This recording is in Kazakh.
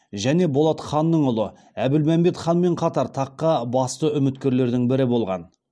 және болат ханның ұлы әбілмәмбет ханмен қатар таққа басты үміткерлердің бірі болған